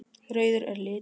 Rauður er litur.